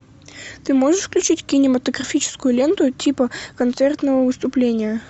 ты можешь включить кинематографическую ленту типа концертного выступления